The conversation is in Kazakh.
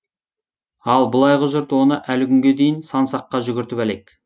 ал былайғы жұрт оны әлі күнге дейін сан саққа жүгіртіп әлек